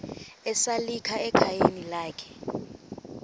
esalika ekhayeni lakhe